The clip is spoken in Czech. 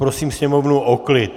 Poprosím sněmovnu o klid.